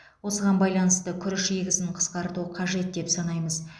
осыған байланысты күріш егісін қысқарту қажет деп санаймыз